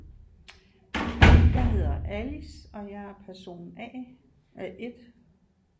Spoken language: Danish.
Jeg hedder Alice og jeg er person A øh 1